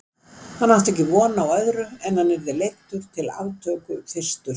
Hann átti ekki von á öðru en hann yrði leiddur til aftöku fyrstur.